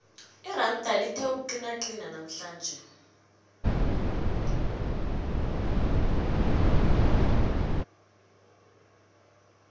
iranda lithe ukuqinaqina namhlanje